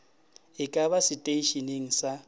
e ka ba seteišeneng sa